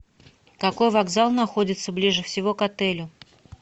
какой вокзал находится ближе всего к отелю